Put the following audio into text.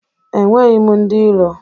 Enweghị m ndị iro